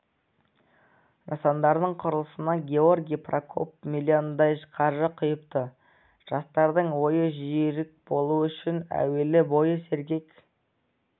нысандардың құрылысына георгий прокоп миллиондай қаржы құйыпты жастардың ойы жүйрік болу үшін әуелі бойы сергек